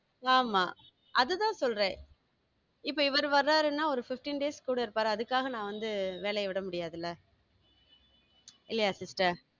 ஆமா அதுதான் சொல்றேன் இப்ப இவர் வறாருன்னா ஒரு fifteen days கூட இருப்பாரு அதுக்காக நான் வந்து வேலையை விட முடியாதுல? இல்லையா sister?